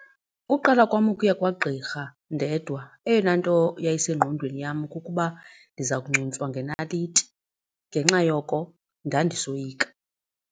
Ukuqala kwam ukuya kwagqirha ndedwa eyona nto yayisengqondweni yam kukuba ndiza kuncuntswa ngenaliti. Ngenxa yoko ndandisoyika.